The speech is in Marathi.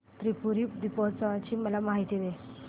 त्रिपुरी दीपोत्सवाची मला माहिती दे